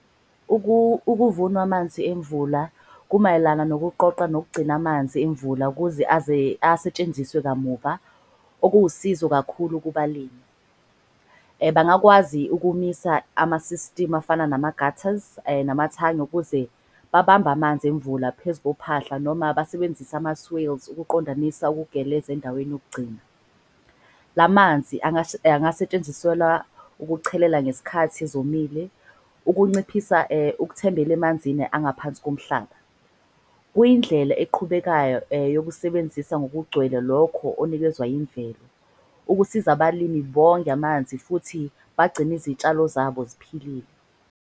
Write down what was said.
Ukuvunwa amanzi emvula kumayelana nokuqoqa nokugcina amanzi emvula kuze asetshenziswe kamuva. Okuwusizo kakhulu kubalimi, bangakwazi ukumisa ama-system afana nama-gaters namathangi ukuze babambe amanzi emvula. Phezu kophahla noma basebenzise ama-swales ukuqondanisa ukugeleza endaweni yokugcina. La manzi angasetshenziswelwa ukuchelela ngesikhathi ezomile. Ukunciphisa ukuthembela emanzini angaphansi komhlaba. Kuyindlela eqhubekayo yokusebenzisa ngokugcwele lokho okunikezwa imvelo. Ukusiza abalimi bonge amanzi futhi bagcine izitshalo zabo ziphilile.